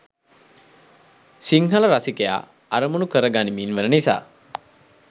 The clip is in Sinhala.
සිංහල රසිකයා අරමුණු කරගනිමින් වන නිසා.